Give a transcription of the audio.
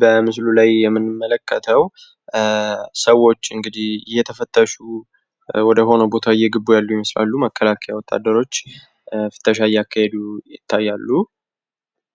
በምስሉ ላይ የምንመለከተው እንግዲህ ሰዎች እየተፈተሹ ወደ ሆነ ቦታ እየገቡ እንደሆነ ያሳያል። መከላከያ ውትድሮች እየፈተሹ እንደሆነ ያሳያል።